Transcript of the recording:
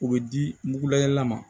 U bɛ di mugulayɛlɛla ma